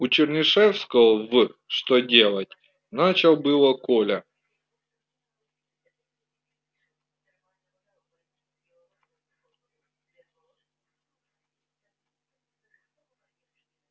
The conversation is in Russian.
у чернышевского в что делать начал было коля